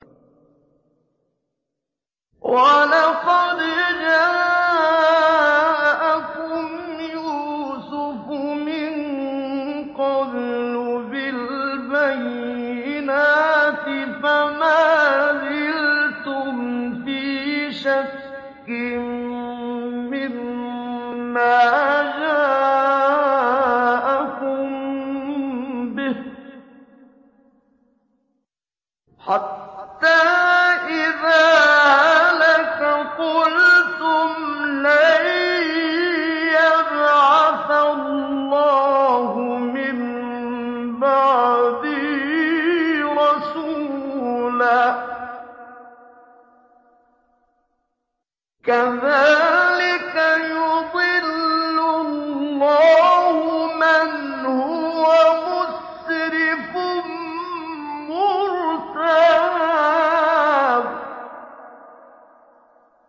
وَلَقَدْ جَاءَكُمْ يُوسُفُ مِن قَبْلُ بِالْبَيِّنَاتِ فَمَا زِلْتُمْ فِي شَكٍّ مِّمَّا جَاءَكُم بِهِ ۖ حَتَّىٰ إِذَا هَلَكَ قُلْتُمْ لَن يَبْعَثَ اللَّهُ مِن بَعْدِهِ رَسُولًا ۚ كَذَٰلِكَ يُضِلُّ اللَّهُ مَنْ هُوَ مُسْرِفٌ مُّرْتَابٌ